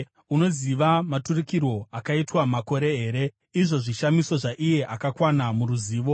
Unoziva maturikirwo akaitwa makore here, izvo zvishamiso zvaiye akakwana muruzivo?